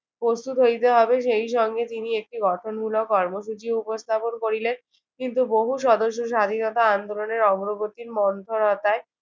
প্রস্তুত হইতে হবে। সেই সঙ্গে তিনি একটি গঠনমূলক কর্মসূচিও উপস্থাপন করিলেন। কিন্তু বহু সদস্য স্বাধীনতা আন্দোলনের অগ্রগতি মন্থরতায়